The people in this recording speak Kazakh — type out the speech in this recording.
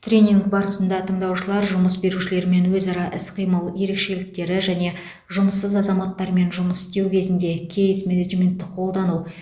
тренинг барысында тыңдаушылар жұмыс берушілермен өзара іс қимыл ерекшеліктері және жұмыссыз азаматтармен жұмыс істеу кезінде кейс менеджментті қолдану